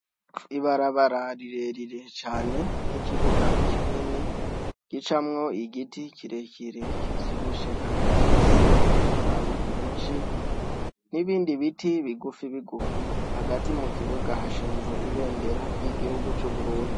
Ibarabara rirerire cane n'ikibuga kinini ricamwo igiti kirekire kivyibushe kandi gifise amababi menshi n'ibindi biti bigufi bigufi. Hagati mu kibuga hashinze ibendera ry'igihugu c'Uburundi.